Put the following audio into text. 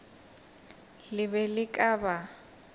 le be le ka ba